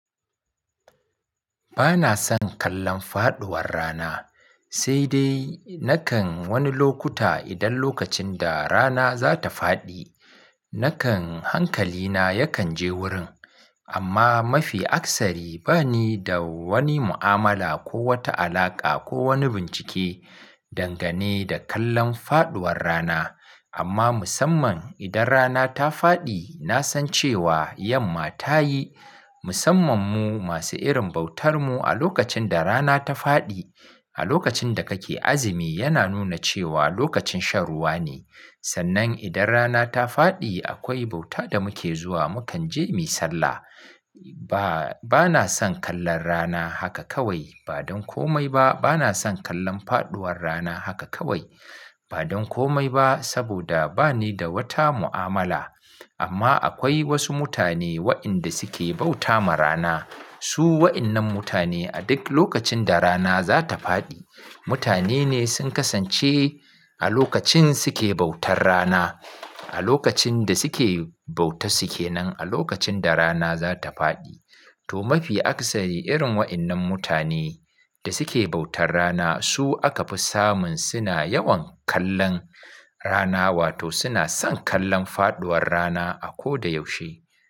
Bana son kallon faɗuwar rana, sai dai nakan wani lokuta idan lokacin da rana za ta faɗi, nakan hankalina yakan je wurin. Amma mafi akasari ba ni da wani mu'amala ko wata alaƙa ko wani bincike dangane da kallon faɗuwar rana. Amma musamman idan rana ta faɗi, na san cewa yamma ta yi. Musamman mu masu irin bautar mu a lokacin da rana ta faɗi, a lokacin da kake azumi yana nuna cewa lokacin shan ruwa ne. Sannan idan rana ta faɗi akwai bauta da muke zuwa, mukan je mu sallah. Ba, bana son kallon rana haka kawai, ba don komai ba. Bana son kallon faɗuwar rana haka kawai, ba don komai ba saboda ba ni da wata mu'amala. Amma akwai wasu mutane waɗanda suke bauta ma rana. Su waɗannan mutane a duk lokacin da rana za ta faɗi, mutane ne sun kasance a lokacin suke bautar rana, a lokacin da suke bauta suke nan a lokacin da rana za ta faɗi. To mafi akasari irin waɗannan mutane da suke bautar rana su aka fi samun suna yawan kallon rana wato suna son kallon faɗuwar rana a koda yaushe.